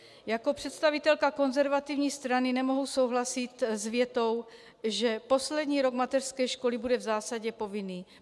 Jako představitelka konzervativní strany nemohu souhlasit s větou, že poslední rok mateřské školy bude v zásadě povinný.